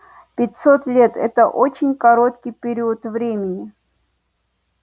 пятьсот лет это очень короткий период времени